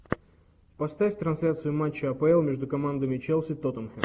поставь трансляцию матча апл между командами челси тоттенхэм